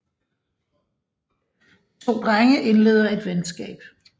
De to drenge indleder et venskab